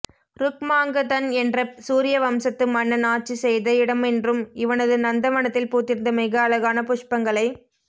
ருக்மாங்கதன் என்ற சூர்ய வம்சத்து மன்னன் ஆட்சி செய்த இடமென்றும் இவனது நந்த வனத்தில் பூத்திருந்த மிக அழகான புஷ்பங்களை